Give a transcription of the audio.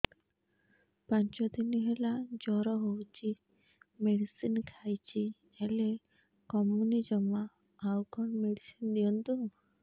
ପାଞ୍ଚ ଦିନ ହେଲା ଜର ହଉଛି ମେଡିସିନ ଖାଇଛି ହେଲେ କମୁନି ଜମା ଆଉ କଣ ମେଡ଼ିସିନ ଦିଅନ୍ତୁ